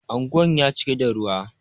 Anguwan ya cika da ruwa.